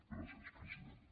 gràcies president